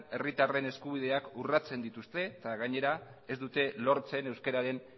herritarren eskubideak urratzen dituzten eta gainera ez dute lortzen euskararen